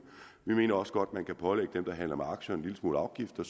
vi mener også godt at man kan pålægge dem der handler med aktier en lille smule afgifter